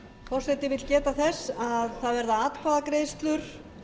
forseti vill geta þess að það verða atkvæðagreiðslur